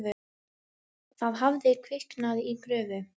Þar hafði kviknað í gröfu.